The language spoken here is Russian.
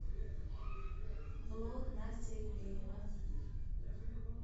влог настя ивлеева